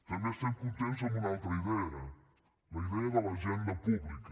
també estem contents amb una altra idea la idea de l’agenda pública